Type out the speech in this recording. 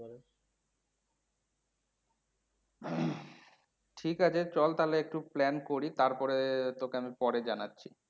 ঠিকাছে, চল তাহলে একটু plan করি তারপরে তোকে আমি পরে জানাছি।